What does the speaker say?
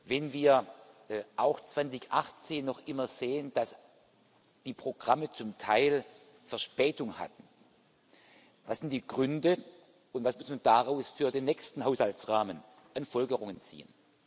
Wenn wir auch 2018 noch immer sehen, dass die Programme zum Teil Verspätung hatten was sind die Gründe, und was muss man daraus für den nächsten Haushaltsrahmen an Folgerungen ziehen?